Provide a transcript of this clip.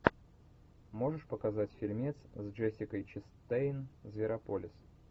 можешь показать фильмец с джессикой честейн зверополис